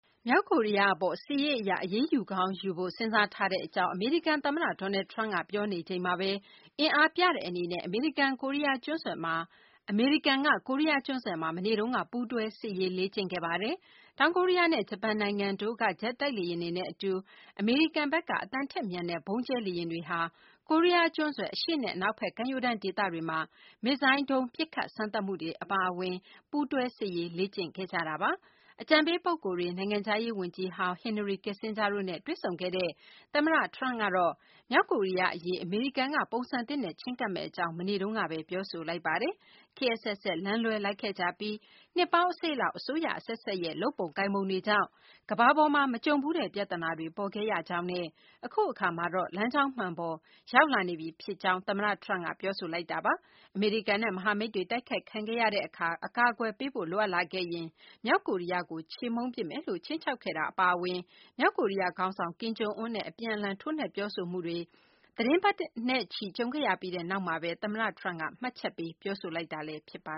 မြောက်ကိုရီးယားအပေါ် စစ်ရေးအရ အရေးယူကောင်းယူဖို့ စဉ်းစားထားကြောင်း အမေရိကန်သမ္မတ Donald Trump က ပြောနေချိန်မှာပဲ၊ အင်အားပြတဲ့အနေနဲ့ အမေရိကန်က ကိုရီးယားကျွန်းဆွယ်မှာ မနေ့တုန်းက ပူးတွဲစစ်ရေးလေ့ကျင့်ခဲ့ပါတယ်။ တောင်ကိုရီးယားနဲ့ ဂျပန်နိုင်ငံတို့က ဂျက်တိုက်လေယာဉ်တွေနဲ့အတူ အမေရိကန်က အသံထက်မြန်တဲ့ ဗုံးကြဲလေယာဉ်တွေဟာ ကိုရီးယားကျွန်းဆွယ် အရှေ့နဲ့ အနောက်ဖက် ကမ်းရိုးတန်းဒေသတွေမှာ မစ်ဇိုင်းဒုံးပစ်ခတ်စမ်းသပ်မှုတွေ အပါအဝင် ပူးတွဲစစ်ရေး လေ့ကျင့်ခဲ့ကြတာပါ။ အကြံပေးပုဂ္ဂိုလ်တွေ၊ နိုင်ငံခြားရေး ဝန်ကြီးဟောင်း Henry Kissinger တို့နဲ့ တွေ့ဆုံခဲ့တဲ့ သမ္မတ Trump ကတော့ မြောက်ကိုရီးယားအရေး အမေရိကန်က ပုံစံသစ်နဲ့ ချဉ်းကပ်မယ့်အကြောင်း မနေ့တုန်းကပဲ ပြောဆိုလိုက်ပါတယ်။ "ခေတ်အဆက်ဆက် လမ်းလွဲလိုက်ခဲ့ကြပြီး၊ နှစ်ပေါင်းအစိတ်လောက်အတွင်း အစိုးရအဆက်ဆက်ရဲ့ လုပ်ပုံကိုင်ပုံတွေကြောင့် ကမ္ဘာပေါ်မှာ မကြုံဖူးတဲ့ ပြဿနာတွေ ပေါ်ခဲ့ရကြောင်းနဲ့ အခုအခါမှာတော့ လမ်းကြောင်းမှန်ပေါ် ရောက်လာနေပြီဖြစ်ကြောင်း " သမ္မတ Trump က ပြောဆိုလိုက်တာပါ။ အမေရိကန်နဲ့ မဟာမိတ်တွေ တိုက်ခိုက်ခံရတဲ့အခါ အကာအကွယ်ပေးဖို့ လိုအပ်လာခဲ့ရင်၊ မြောက်ကိုရီးယားကို ချေမှုန်းပစ်မယ်လို့ ခြိမ်းခြောက်ခဲ့တာ အပါအဝင် မြောက်ကိုရီးယားခေါင်းဆောင် Kim Jong Un နဲ့ အပြန်အလှန် ထိုးနှက်ပြောဆိုမှုတွေ သီတင်းပတ်နဲ့ချီ ကြုံခဲ့ရပြီး နောက်မှာပဲ သမ္မတ Trump က မှတ်ချက်ပေးပြောဆိုလိုက်တာလည်း ဖြစ်ပါ